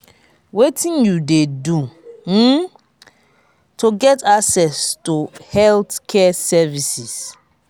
wetin you dey do um to get access to healthcare services?